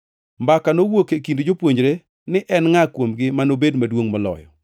Mbaka nowuok e kind jopuonjre ni en ngʼa kuomgi manobed maduongʼ moloyo.